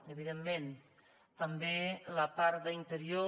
evidentment també la part d’interior